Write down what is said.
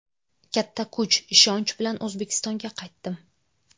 Katta kuch, ishonch bilan O‘zbekistonga qaytdim.